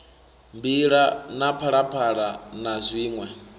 mbila na phalaphala na zwiṋwe